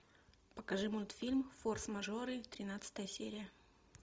покажи мультфильм форс мажоры тринадцатая серия